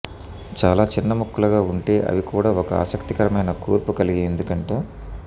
చాలా చిన్న ముక్కలుగా ఉంటే అవి కూడా ఒక ఆసక్తికరమైన కూర్పు కలిగి ఎందుకంటే